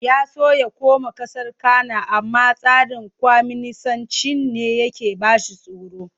Ya so ya koma ƙasar Cana amma tsarin kwaminisancin ne yake ba shi tsoro.